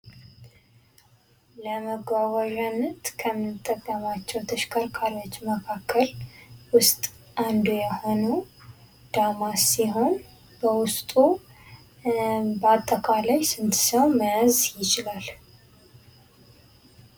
ለመጓጓዣነት ከምንጠቀማቸው ተሽከርካሪዎች መካከል ውስጥ አንዱ የሆነው ዳማስ ሲሆን በውስጡ በአጠቃላይ ስንት ሰው መያዝ ይችላል ?